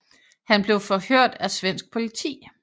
Han blev forhørt af svensk politi